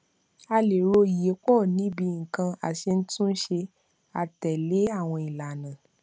a lè ro ìyípo ní bíi nǹkan aṣetúnṣe àtèlè awon ìlànà